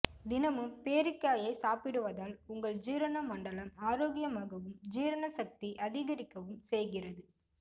தினமும் பேரிக்காயை சாப்பிடுவதால் உங்கள் ஜீரண மண்டலம் ஆரோக்கியமாகவும் ஜீரண சக்தி அதிகரிக்கவும் செய்கிறது